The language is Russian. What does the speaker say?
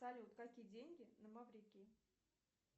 салют какие деньги на маврикии